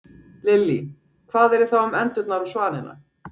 Lillý: Hvað yrði þá um endurnar og svanina?